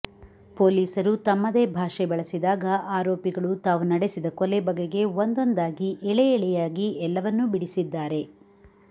ಪೊಲೀಸರು ತಮ್ಮದೇ ಭಾಷೆ ಬಳಸಿದಾಗ ಆರೋಪಿಗಳು ತಾವು ನಡೆಸಿದ ಕೊಲೆ ಬಗೆಗೆ ಒಂದೊಂದಾಗಿ ಎಳೆಎಳೆಯಾಗಿ ಎಲ್ಲವನ್ನೂ ಬಿಡಿಸಿದಾರೆ